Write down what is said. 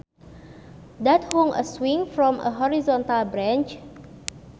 Dad hung a swing from a horizontal branch